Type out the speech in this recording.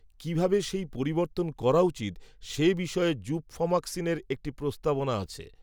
কী ভাবে সেই পরিবর্তন করা উচিত, সে বিষয়ে, জুবফম্যাক্সমিনের, একটি প্রস্তাবনা আছে